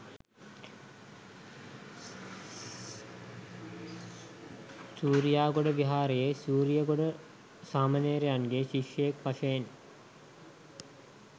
සූරියාගොඩ විහාරයේ සූරියගොඩ සාමණේරයන්ගේ ශිෂ්‍යයෙක් වශයෙන්